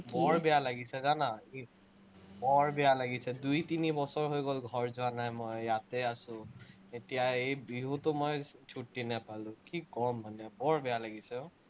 বৰ বেয়া লাগিছে, জানা। বৰ বেয়া লাগিছে, দুই-তিনি বছৰ হৈ গল, ঘৰ যোৱা নাই মই, ইয়াতে আছো। এতিয়া এই বিহুতো মই ছুটি নাপালো, কি কম মানে, বৰ বেয়া লাগিছে আহ